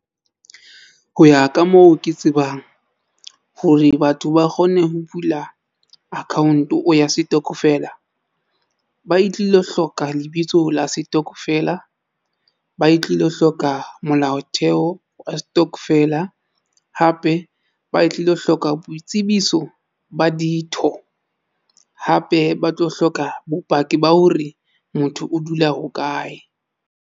Ho ya ka moo ke tsebang hore batho ba kgone ho bula account o ya setokofela, ba e tlilo hloka lebitso la setokofela, ba e tlilo hloka molaotheo wa stokvel a hape ba tlilo hloka boitsebiso ba ditho hape ba tlo hloka bopaki ba hore motho o dula hokae.